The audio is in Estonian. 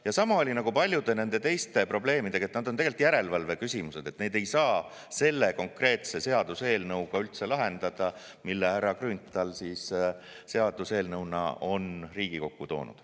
Ja sama oli paljude teiste probleemidega, et nad on tegelikult järelevalveküsimused, neid ei saa üldse lahendada selle konkreetse seaduseelnõuga, mille härra Grünthal on Riigikokku toonud.